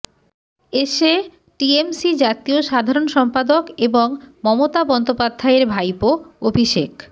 এসে টিএমসি জাতীয় সাধারণ সম্পাদক এবং মমতা বন্দ্যোপাধ্যায়ের ভাইপো অভিষেক